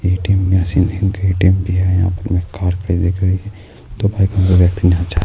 اے T M machine ہے ایک A T M بھی ہے یہاں پر